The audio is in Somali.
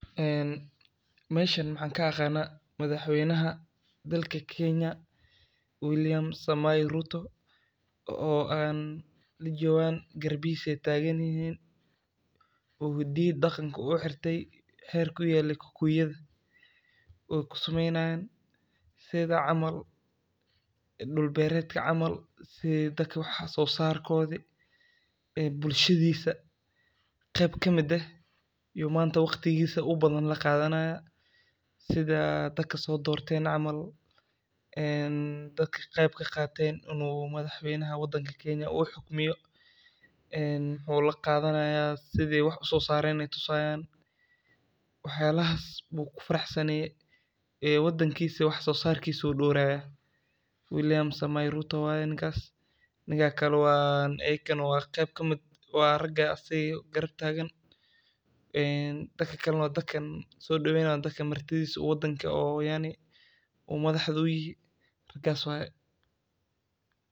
Meeshaan maxaa ka muuqda? Madaxweynaha dalka Kenya William Samoei Ruto oo ay la joogaan, oo garbihiisa joogan. Wuxuu xiran yahay hiddo iyo dhaqanka Kikuyada, oo ku sameynayaan sida dulberadka camal, sida dadka wax soo saarkooda iyo bulshada qeyb ka mid ah. Wuxuu maanta waqtigiisa la qaadanayaa sida dadka soo doorteen camal, dadka qeyb ka qaatay inuu madaxweynaha Kenya noqdo. Sidee wax loo soo saaray ayey tusayaan. Waxyaalahaas ayuu ku faraxsan yahay, waddankiisana wax soo saarkiisa ayuu dhowrayaa. William Samoei Ruto ayuu yahay ninkaas. Ninka kale waa qeyb ka mid ah, waa ragga asaga garab taagan. Dadka kalana waa dadka soo dhaweynaya oo madaxda uu u yahay.